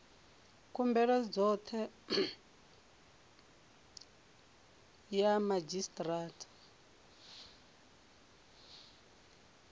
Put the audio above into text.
khumbelo khothe ya madzhisi ṱira